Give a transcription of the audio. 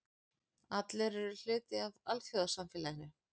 Allir eru hluti af alþjóðasamfélaginu.